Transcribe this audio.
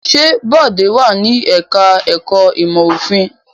Ṣé Bọ̀dé wà ní ẹ̀ka-ẹ̀kọ́ ìmọ̀-òfin?